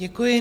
Děkuji.